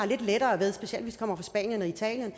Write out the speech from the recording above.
lidt lettere ved specielt hvis de kommer fra italien